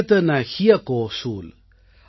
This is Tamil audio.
बिन निज भाषाज्ञान के मिटत न हिय को सूल ||